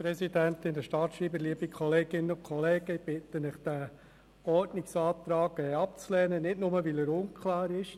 Ich bitte Sie, den Ordnungsantrag abzulehnen, nicht nur weil er unklar ist.